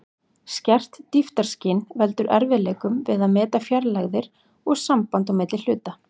Skert dýptarskyn veldur erfiðleikum við að meta fjarlægðir og samband á milli hluta.